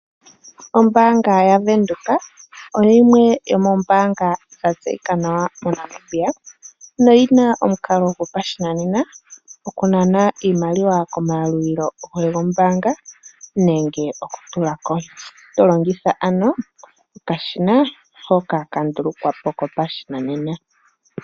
Ombaanga yoBank Windhoek oyo yimwe yomoombanga dha tseyika nawa moNamibia, noyina omakalo gopashinanena okunana iimaliwa komayalulilo gombaanga nenge okutulako. To longitha ano okashina hoka ka ndulukwapo kopashinanena.